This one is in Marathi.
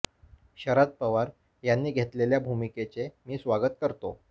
शरद पवार यांनी घेतलेल्या भूमिकेच मी स्वागत करतो